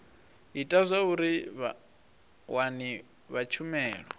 ita zwauri vhawani vha tshumelo